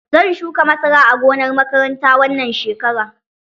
Zan shuka masara a gonar makaranta wannan shekarar.